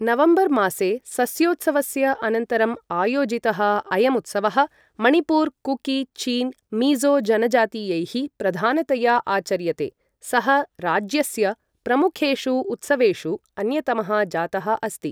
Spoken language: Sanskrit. नवम्बरमासे सस्योत्सवस्य अनन्तरम् आयोजितः अयम् उत्सवः मणिपुरे कुकी चिन् मिज़ो जनजातीयैः प्रधानतया आचर्यते, सः राज्यस्य प्रमुखेषु उत्सवेषु अन्यतमः जातः अस्ति।